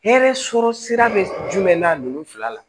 Hɛrɛ sɔrɔ sira be jumɛn na nunnu fila la